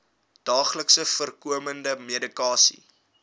daagliks voorkomende medikasie